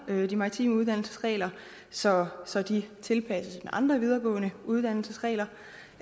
de maritime uddannelsesregler så så de tilpasses andre videregående uddannelsers regler og